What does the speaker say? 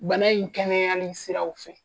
Bana in kɛnɛyani siraw fɛ.